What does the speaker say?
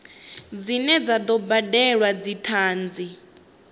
dzine dza do badelwa dzithanzi